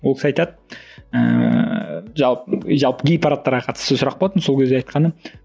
ол кісі айтады ыыы жалпы жалпы гей парадтарға қатысты сұрақ болатын сол кезде айтқаны